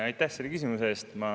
Aitäh selle küsimuse eest!